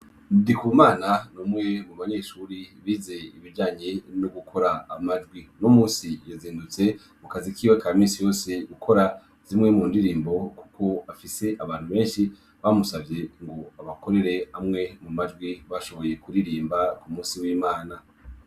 Ndikumana ni umwe mu banyeshuri bize ibijyanye no gukora amajwi, uno munsi yazindutse mu kazi kiwe ka misi yose gukora zimwe mu ndirimbo kuko afise abantu benshi bamusavye ngo abakorere amwe mu majwi bashoboye kuririmba ku munsi w'imana.